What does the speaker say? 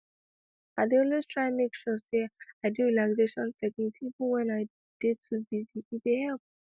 i dey always try make sure say i do relaxation technique even when i dey too busy e dey help